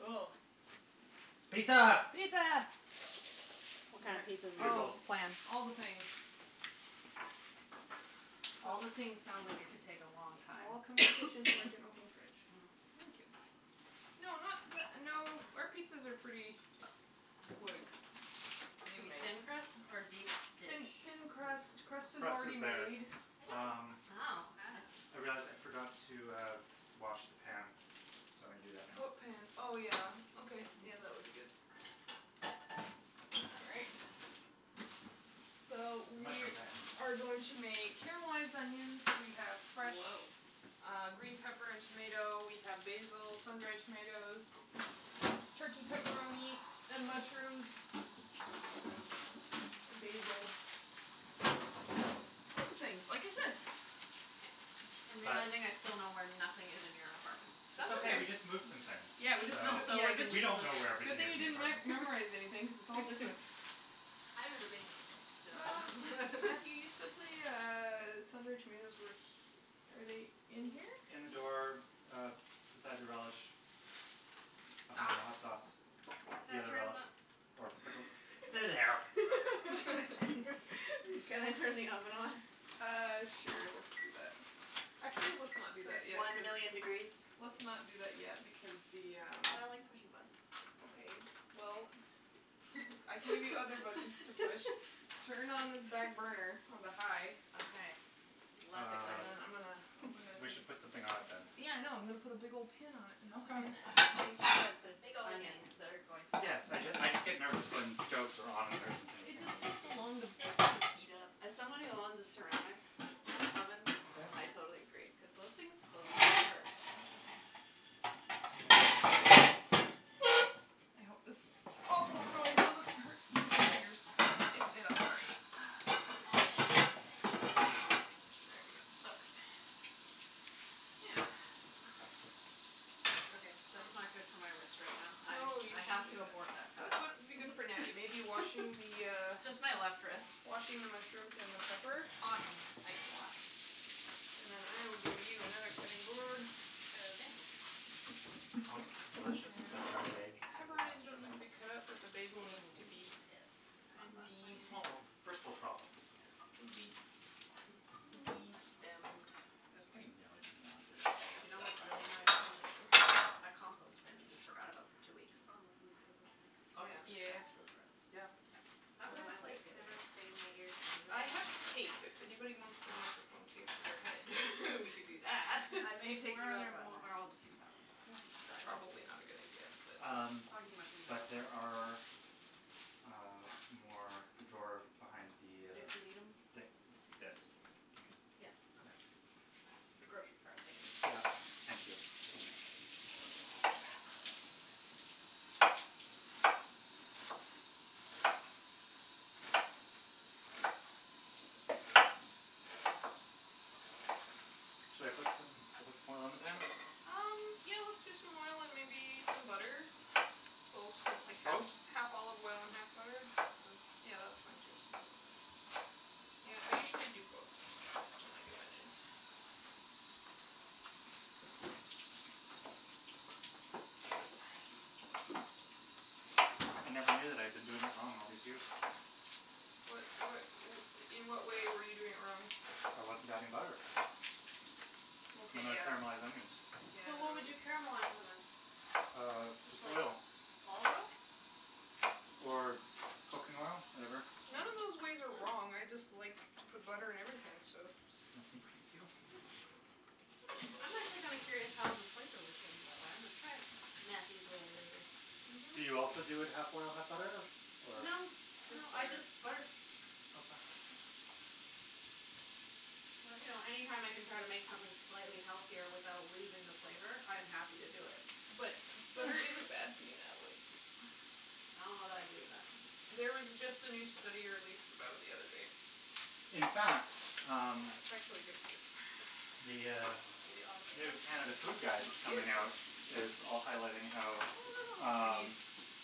Cool. Pizza. Pizza. What kind of pizza do we want to Oh. Bugles. plan? All the things. All the things sounds like it could take a long All time. come in the kitchen. It's like an open fridge. Mm. Thank you. No, not the no, our pizzas are pretty quick Is it going to to be make. thin crust or deep Thin dish? thin crust. Crust is Crust already is better. made. Uh. Wow. I see. Hey, Jas, I forgot to uh wash the pan, so I'm going to do that now. What pan? Oh, yeah. Okay, yeah, that would be good. All right. So, The we mushroom pan. are going to make caramelized onions. We have fresh Whoah. uh green pepper and tomato. We have basil, sun dried tomatoes. Turkey pepperoni, and mushrooms. And basil. All things, like I said. I'm realizing I still know where nothing is in your apartment. It's That's okay. We okay. just moved some things. Yeah, we just So moved. Yeah, did we don't know where we Good everything thing is you in the didn't re- apartment. memorize anything because it's all different. I've never been here before, so Matthew, you said the uh sun dried tomatoes were he- Are they in here? In the door, uh, beside the relish. Behind the Ah. hot sauce. The Can I other turn relish. the Or pickle. There they are. Thank you. Can I turn the oven on? Uh, sure, let's do that. Actually, let's not do that yet One cuz million degrees. Let's not do that yet because the um But I like pushing buttons. Okay, well, I can give you other buttons to push. Turn on this back burner onto high. Okay, less Um exciting. I'm gonna open this we and should put um something on it, then. Yeah, I know. I'm going to put a big old pan on it in Okay. a second. I think she said there's Big old pan. onions that are going to Yes, so I just I just get nervous when stoves are on and there isn't It anything just on takes so long to them. heat up. As someone who owns a ceramic oven, Yeah. I totally agree cuz those things those things can hurt. I hope this awful noise doesn't hurt anybody's ears. If it did, I'm sorry. There we go. Okay. Yeah. Okay, that's not good for my wrist right now. I I have to abort that What task. would be good for Natty? Maybe washing the uh Just my left wrist. Washing the mushrooms and the pepper? Awesome, I can wash. And then I will give you another cutting board. Is that okay? Omelettes are delicious, but dried egg is Pepperoni doesn't need to be cut up, but the basil needs to be. Mm, yes, not fun. Funny It's funny small small first world problems. Yes. Can be It's destemmed. it's like to know this egg You know stuck what's up really annoying to me? That compost bin that you forgot about for two weeks. Oh, yeah. Yeah yeah yeah That's really gross. Yeah. Yeah. That was Headphones my life like the other day. never stay in my ears I anyway. have tape. If anyone wants their microphone taped to their head, we could do that. I'm gonna take Where are you there up on more that. I'll just use that one, just to dry it off. Probably not a good idea but Um Soggy mushrooms but aren't. there are, uh, more in the drawer behind the uh If we need them. The this Yes. Yeah. The grocery cart thingy. Yeah, thank you. Should I put some should I put some more oil on the pan? Um, yeah, let's do some oil and maybe some butter. So something like half Both? half olive oil and half butter. Or yeah that's fine too. Yeah, I usually do both when I do onions. I never knew that I've been doing it wrong all these years. What what In what way were you doing it wrong? I wasn't adding butter. Okay When I yeah caramelize onions. So what would you Yeah caramelize them in? Um, Just just like oil. olive oil? Or cooking oil, whatever. Mm. None of those ways are wrong. Mm. I just like to put butter in everything, so I'm just gonna sneak thank you. I'm actually kinda curious how the flavor would change that way. I'm gonna try it. Matthew's way Do you also do it half oil, half butter or? No, no, Just I butter. just butter. Okay. But, you know, any time I can try to make something slightly healthier without losing the flavor, I'm happy to do it. But butter isn't bad for you, Natalie. I don't know that I believe that. There was just a new study released about it the other day. In fact, um, It's actually good for you. the uh new Canada Food Guide coming out is also highlighting I how don't know how much we need. um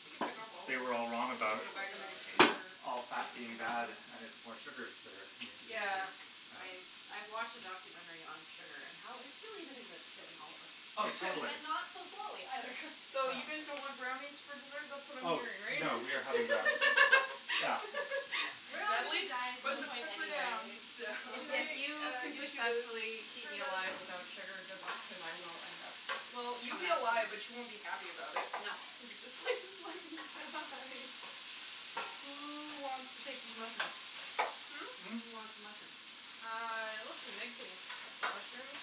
You can pick off all of they were all I think them. I'm wrong We'll just about put them gonna back in do all the of it. container all or put fat them being bad and it's more sugars that are being Yeah, introduced. I I watched a documentary on sugar and how it's really the thing that's killing all of us. Oh, totally. And not so slowly either. So you guys don't want brownies for dessert? That's what I'm Oh, hearing, right? no, we are having brownies. Yeah. We're all going to be on Natalie, a diet at put some the point pepper down. anyway, so. If you I'll could get you successfully keep me alive to without sugar, good luck because I will end up Well, you'll coming be after alive, but you. you won't be happy about it. No. Who wants to take these mushrooms? Hmm? Hmm? Who wants mushrooms? Uh, let's see, Meg can cut some mushrooms.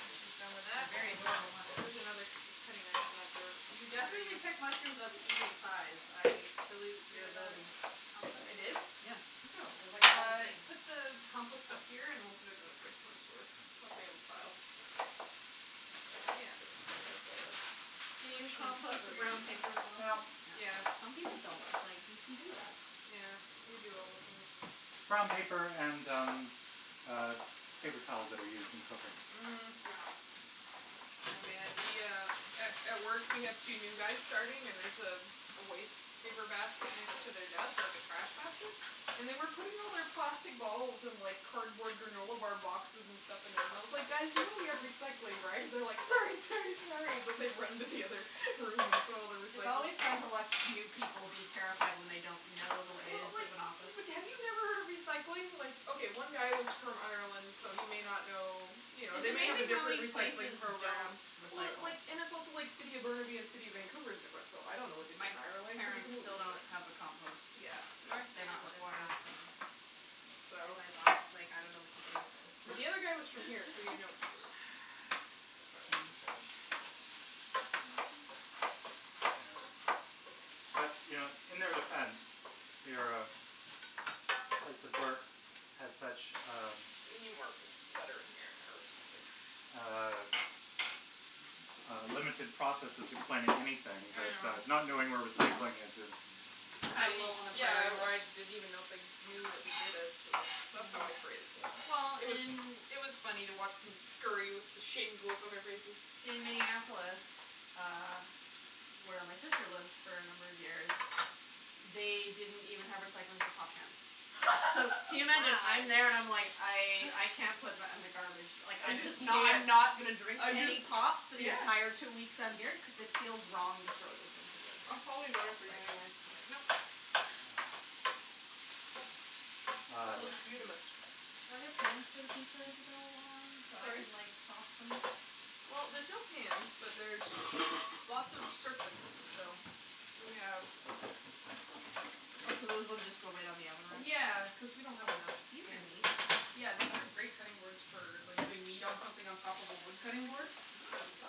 When she's done with They're that. very adorable There's mushrooms. another k- cutting knife in that drawer You under definitely you. pick mushrooms of an even size. I salute your Peanut ability. I did? butter Yeah. Look at them. They're like all the Uh same. put the compost up Oh. here and we'll put it in the fridge once we once we have a pile. Yeah, that's Can you compost the brown paper as Well, well? yeah. Some people don't. It's like, you can do that. Yeah. We do all the things. Brown paper and, um, paper uh towels that are used in cooking. Mhm. Yeah. Oh, man, the uh A at work we have two new guys starting and there's a waste paper basket next to their desk, like a trash basket, and they were putting all their plastic bottles and like cardboard granola bar boxes and stuff in there, and I was like, "Guys, you know we have recycling, right?" And they're like, "Sorry, sorry, sorry," and they run into the other room and put all their It's recycling. always fun to watch new people be terrified when they don't know the Well, ways like, of an office. but have you never heard of recycling? Like, okay, one guy was from Ireland, so he may not know, you know, It's they may have a amazing how different many recycling places don't program. Well, recycle. like, and it's also like City of Burnaby and City of Vancouver is different, so I don't know what they do My in Ireland. It could be parents completely still don't different. have a compost. Yeah. They North they are not Van just required. got them. And So my boss is like, "I don't know what to do with this." The other guy was from here, so he had no excuse. As far as I am concerned. Yeah. But, you know, in their defense, your place of work has such, um We need more bu- butter in here or something. Uh uh limited processes explaining anything I that uh know. not knowing where recycling is is I Kind of low on the yeah, priority list. I didn't even know if they knew that we did it, so that's that's Mm. how I phrased it. Well, It was in it was funny to watch them scurry with the shamed look on their faces. In Minneapolis, uh, where my sister lived for a number of years, they didn't even have recycling for pop cans. So, can you imagine? I'm there and I'm like, Wow. "I I can't put that in the garbage." Like, I I'm just just knew not it. not gonna drink I any just pop for the yeah. entire two weeks I'm here cuz it feels wrong to throw this into the It's probably better for you like anyway. like yeah That Um. looks beautamis. Are there pans for the pizza to go on so I Sorry? can like sauce them? Well, there's no pans, but there's lots of surface, so We have What, so those ones just go right on the oven rack? Yeah, cuz we don't have enough These are amazing. Yeah, these are great cutting boards for like doing meat on something on top of a wood cutting board.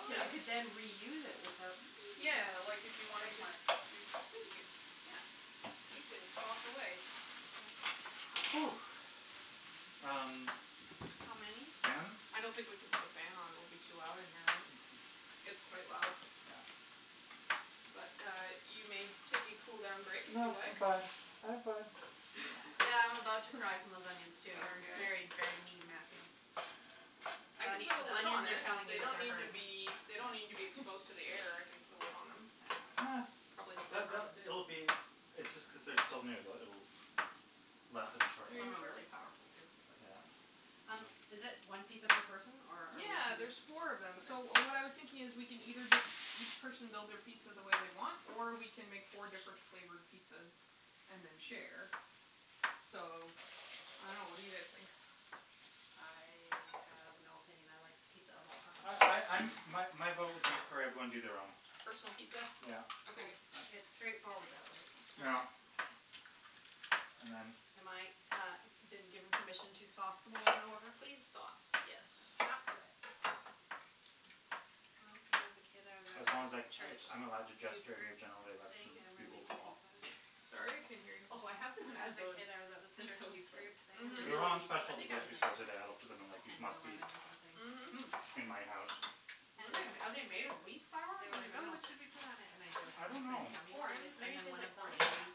Oh. So you could then reuse it without Yeah, like if you wanted to Thank you. Yeah. You can sauce away. Mm. Oh. Um How many? Fan? I don't think we can put the fan on. It will be too loud in here, right? It's Okay. quite loud. Yeah. But uh you may take a cool down break if you No, I'm like. fine, I'm fine. Yeah, I'm about to cry from those onions, too. Sorry, You're guys. very, very mean Matthew. I can The put a the lid onions on are it. telling you They that don't they're need to hurting. be They don't need to be exposed to the air. I can put a lid on them. Uh Probably It'll be It's just cuz they're still new that it'll lessen Are shortly. you Some are sure? really powerful, too like Yeah. um Um, is it one pizza per person or? Yeah, there's four of them. So what I was thinking is, we can either just each person build their pizza the way they want, or we can make four different flavored pizzas and then share. So, I don't know. What do you guys think? I have no opinion. I like pizza of all kinds. Oh I I'm My my vote would be for everyone to do their own. Personal pizza? Yeah. Okay. Okay. Uh It's straightforward that way. Yeah. And then. Am I, uh, been given permission to sauce them all in order? Please sauce, yes. Okay. Sauce away. Once when I was a kid, I was at As long as like church I'm allowed to youth gesture in your group general thing election and we were bugle making call. pizzas. Sorry, I couldn't hear you. Oh, I haven't When I was had a those kid, I was at this since church I was youth like. group thing Mhm. making They're all on pizzas. special I at the think I was grocery store making today. I looked at them and like like they ten or must be eleven or something. Hmm. Mhm. in my house. Mm. Are they made of wheat flour? They were I like, "Oh, dunno. what should we put on it," and I I don't jokingly said know. gummy Corn. It's worms and maybe then tastes one like of the corn. ladies,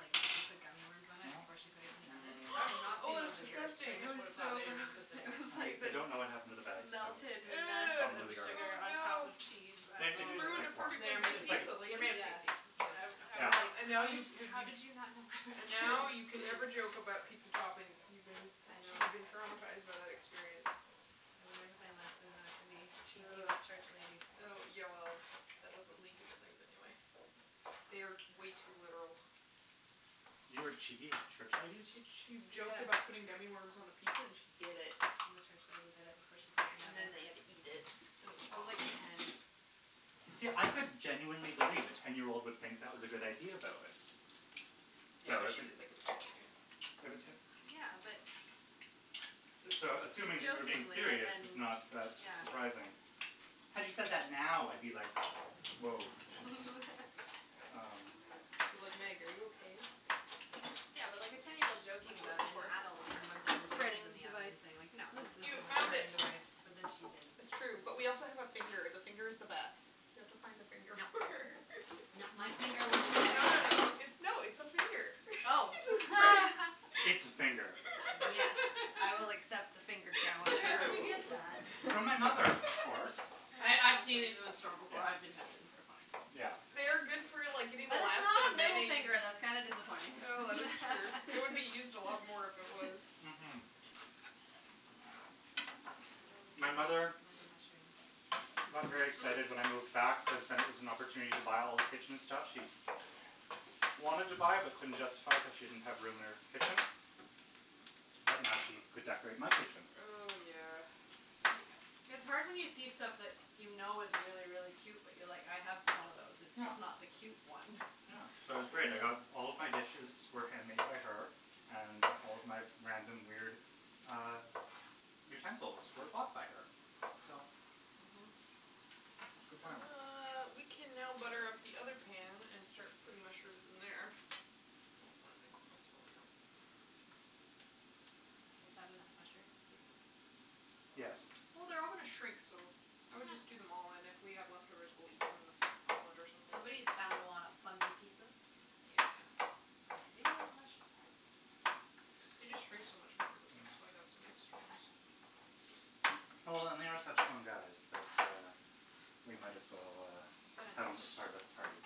like, put gummy worms on it before she put it in the oven. I've not Oh, seen those that's in years. I disgusting. It just was would've thought so they didn't gross. exist It anymore. was I like I this don't know what happened to the bag, so melted mess Ew. probably of in the garbage. sugar Oh on top no. of cheese. And they You do taste ruined a like corn. They perfectly are made It's good of it's like taste. pizza, They're lady. made of Yeah. tasty. It's all you need I I to Yeah. was like, know. And now "How did you you how did you not know and I was kidding?" now you can never joke about pizza toppings. You've been. I I'm sure know. you've been traumatized by that experience. I learned my lesson not to be cheeky Uh with church ladies. uh yeah, well, that doesn't lead to good things anyway. They are way too literal. You were cheeky with church ladies? She che- Yeah. joked about putting gummy worms on a pizza, and she did it. The church lady did it before she put it And in the oven. then we had to eat it. I was like ten. See, I could genuinely believe a ten year old would think that was a good idea, though, eh. So Yeah, I but was she didn't think it was a good idea. Yeah, but. So, assuming that you were being Jokingly and serious is then not that Yeah. surprising. Had you said that now, I'd be like, "Whoah she's" Um It'd be like, "Meg, are you okay?" Yeah, but like a ten year old joking What you about looking it and the for? adult being the one A putting pizzas in spreading the oven device. and saying, like, no, Use that's this not You as a found spreading okay. it. device. But then she did That's true. But we also have a finger. And the finger is the best. You have to find a finger. No, no, my finger wasn't. No, no, no. It's no, it's Oh. It's a finger. Yes, I will accept the finger challenge. Where did you get Ooh. that? From my mother, of course. I I've seen it in the store before. Yeah. I've been tempted Yeah. They are good for, like, getting the But it's last bit not of a middle mayonnaise. finger. That's kinda disappointing. Oh, that is true. It would be used a lot more if it was. Mm- hm. What do we do with My this mother amount of mushroom? got very excited when I Hmm? moved back cuz then it was an opportunity to buy all the kitchen stuff she wanted to buy but couldn't justify it cuz she didn't have room in her kitchen. But now she could decorate my kitchen. Oh, yeah. It's hard when you see stuff that you know is really, really cute but you're like, "I have one of those, it's just not the cute one." Uh, so it was great. I got all of my dishes were hand made by her. And all of my random, weird uh utensils were bought by her. So, Mm- hm. it was good planning. Uh, we can now butter up the pan and start putting mushrooms in there. Oh, my microphone's falling out. Is that enough mushrooms, do you think? Yes. Well, they're all going to shrink, so I would just do them all. And if we have leftovers, we'll eat them on a on bread or something. Somebody is bound to wanna fungi pizza. Yeah. I do like mushrooms. They just shrink so much when they cook. That's why I've got some extra ones. Well, they are such fun guys that uh we might as well uh But uh have them as part of the party.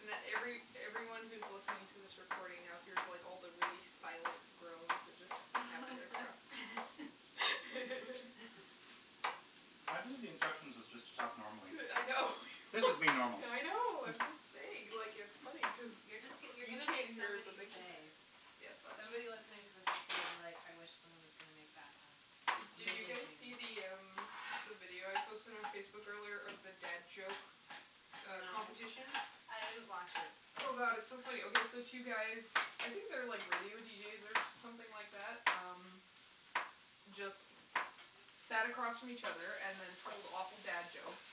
And every everyone who's listening to this recording now here's like all the really silent groans that just happened. I believe the instructions was just to talk normally. Yeah I know. This is me normal. I know, I'm just saying. Like, it's funny cuz You're just you're you going to make can't hear it but somebody's they can hear day. it. Yes, that's Somebody true. listening to this is going to be like, "I wish someone is gonna make bad puns," and Did then you they guys see the um the video I posted on Facebook earlier of the dad joke uh No. competition? No. I didn't watch it. Oh, god, it's so funny. Okay, so two guys, I think they're like radio deejays or something like that. Um, just sat across from each other and then told awful dad jokes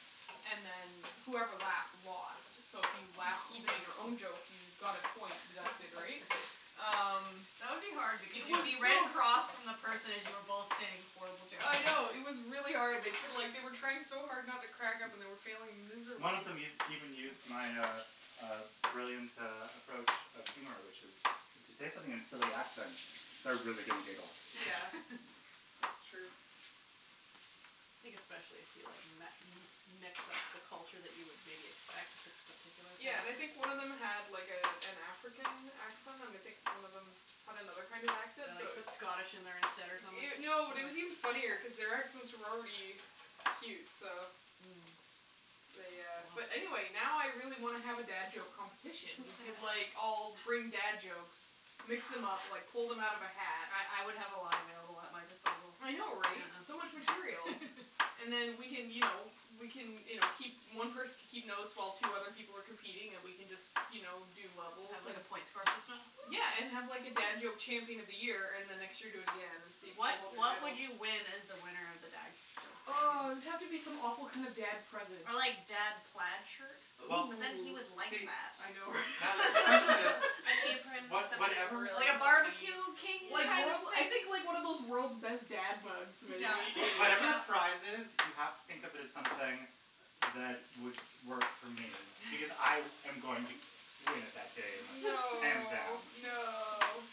and then whoever laughed lost. So if you laughed, even at your own joke, you got a point deducted, right? Um, That would be hard it because you'd be was right so across from the person as you were both saying horrible jokes. I know, it was really hard. They took like they were trying so hard not to crack up and were failing One of miserably. them us- used even used my uh uh brilliant uh approach of humor, which is If you say something in silly accent, they're really gonna giggle. Yeah, it's true. I think especially if you like met mix up the culture that you would maybe expect for this particular thing. Yeah, and I think one of them had like a an African accent, and I think one of them had another kind of accent, Or so like it put Scottish in there instead or something No, it was even funnier cuz their accents were already cute, so Mm. they uh Oh. But anyway, now I really want to have a dad joke competition. We could like all bring dad jokes, mix them up, like pull them out of a hat. I I would have a lot available at my disposal. I know, right? Yeah. So much material. And then we can, you know, we can, you know, keep One person can keep notes while two other people were competing and we can just, you know, do And levels. have like a point score system? Yeah, and have like a dad joke champion of the year and the next year do again and see if you can What hold your what title. would you win as the winner of the dad joke Oh, champion? it would have to be some awful kinda dad present. Ah, like, dad plaid shirt? Well, But then, he Ooh. would like see. that. I know Natalie, the question is, An apron, was something whatever really Like a corny. barbecue king Yeah. kind of I thing? think, like, one of those world's best dad mugs maybe. What- whatever the prize is, you have to think of it as something that would work for me because I am going to win it that day, hands No, down. no.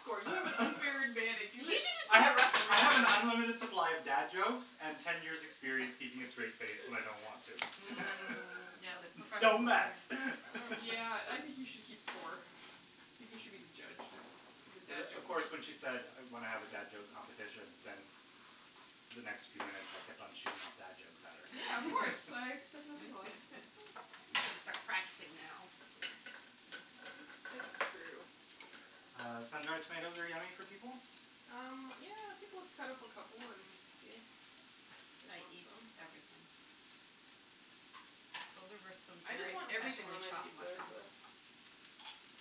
You should just I be a have referee. I have an unlimited supply of dad jokes and ten years experience keeping a straight face when I don't want to. Mm, yeah, like a Don't professional thing. mess Yeah, I think you should keep score. I think you should be the judge of the dad of joke course, when she said when I have a dad joke competition, then the next few minutes I kept on shooting off dad jokes at her. Yeah, of course. I expect nothing less. You got to start practicing now. It's true. Uh, sun dried tomatoes are yummy for people? Um, yeah, I think let's cut up a couple and see if they I eat eat them. everything. Those are some I just very want everything professionally on my chopped pizza, so. mushrooms.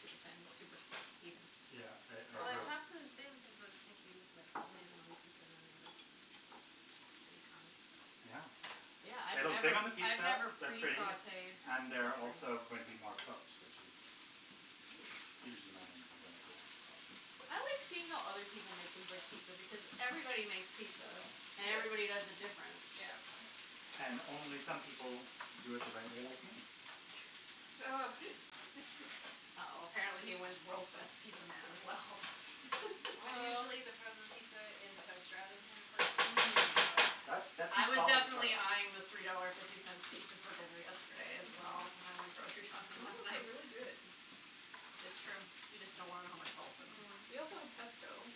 Super thin, super even. Yeah, I I Well, I agree. Bravo. chopped them thin cuz I was thinking you'd like lay it on the pizza and then they would bake on the pizza. Yeah. Yeah, I've They look good never on the I've pizza, never they're pre pretty sautéed and they're also mushrooms. going to be more cooked, which is usually my main complaint, but I like seeing how other people make things like pizza because everybody makes pizza, and everybody does Yes. it different. Yeah. And only some people do it the right way, like me. Ugh. Uh oh, apparently he wins world's best pizza man as well. I'm usually the frozen pizza in the toaster oven kind of person. That's that's a I was solid approach. definitely eyeing the three dollar fifty cents pizza for dinner yesterday as well when I went grocery shopping Some of last those are night. really good. It's true, you just don't want to know how much salt's in them. Mm. We also have pesto